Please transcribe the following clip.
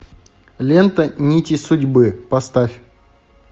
лента нити судьбы поставь